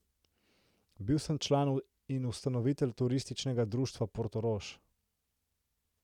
Bil sem član in ustanovitelj Turističnega društva Portorož.